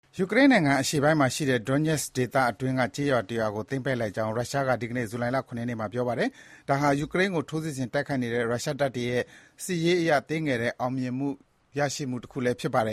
ယူကရိန်းနိုင်ငံ အရှေ့ပိုင်းမှာရှိတဲ့ Donetsk ဒေသအတွင်းက ကျေးရွာတရွာကို သိမ်းပိုက်လိုက်နိုင်ကြောင်း ရုရှားက ဒီကနေ့ ဇူလိုင်လ ၇ ရက်နေ့မှာ ပြောပါတယ်။ ဒါဟာ ယူကရိန်းကို ထိုးစစ်ဆင်တိုက်ခိုက်နေတဲ့ ရုရှားတပ်ဖွဲ့တွေရဲ့ စစ်ရေးအရ သေးငယ်တဲ့ အောင်မြင်တခု ရရှိလိုက်တာလည်း ဖြစ်ပါတယ